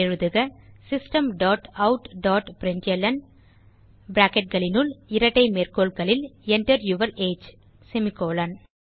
எழுதுக system dot out dot println bracketகளினுள் இரட்டை மேற்கோள்களில் Enter யூர் ஏஜ் செமிகோலன்